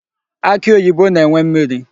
Akị oyibo na-enwe mmiri.